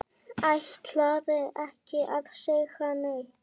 Ætlarðu ekki að segja neitt?